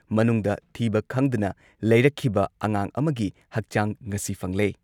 ꯃꯅꯨꯡꯗ ꯊꯤꯕ ꯈꯪꯗꯅ ꯂꯩꯔꯛꯈꯤꯕ ꯑꯉꯥꯡ ꯑꯃꯒꯤ ꯍꯛꯆꯥꯡ ꯉꯁꯤ ꯐꯪꯂꯦ ꯫